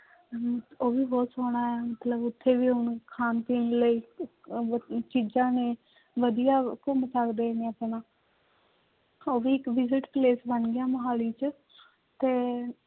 ਉਹ ਵੀ ਬਹੁਤ ਸੋਹਣਾ ਹੈ ਮਤਲਬ ਇੱਥੇ ਵੀ ਹੁਣ ਖਾਣ ਪੀਣ ਲਈ ਚੀਜ਼ਾਂ ਨੇ ਵਧੀਆ ਘੁੰਮ ਸਕਦੇ ਨੇ ਆਪਣਾ ਉਹ ਵੀ ਇੱਕ visit place ਬਣ ਗਿਆ ਮੁਹਾਲੀ ਚ ਤੇ